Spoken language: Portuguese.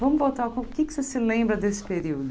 Vamos voltar, o que é que você se lembra desse período?